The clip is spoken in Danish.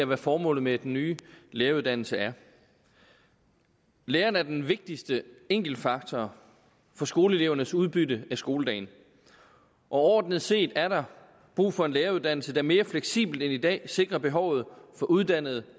hvad formålet med den nye læreruddannelse er lærerne er den vigtigste enkeltfaktor for skoleelevernes udbytte af skoledagen overordnet set er der brug for en læreruddannelse der mere fleksibelt end i dag sikrer behovet for uddannede